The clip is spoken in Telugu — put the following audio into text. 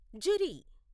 జురి